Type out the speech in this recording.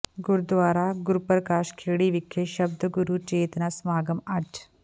ਗੁਰਦੁਆਰਾ ਗੁਰਪ੍ਰਕਾਸ਼ ਖੇੜੀ ਵਿਖੇ ਸ਼ਬਦ ਗੁਰੂ ਚੇਤਨਾ ਸਮਾਗਮ ਅੱਜ